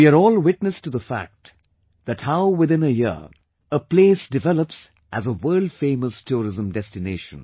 We are all witness to the fact that how within a year a place developed as a world famous tourism destination